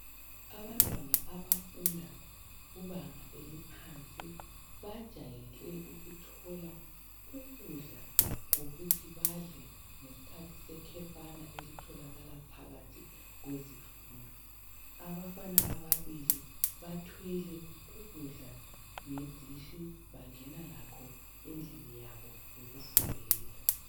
abantwana abafunda kubanga eliphansi bajayele ukuthola ukudla kokuthi badle ngesikhathi sekhefana elitholakala phakathi kwezimfundo abafana ababili bathwele ukudla ngeditshi bangena lakho endlini yabo yokufundela